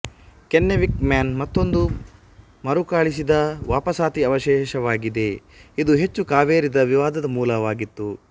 Kennewick Man ಮತ್ತೊಂದು ಮರುಕಳಿಸಿದವಾಪಸಾತಿ ಅವಶೇಷವಾಗಿದೆ ಇದು ಹೆಚ್ಚು ಕಾವೇರಿದ ವಿವಾದದ ಮೂಲವಾಗಿತ್ತು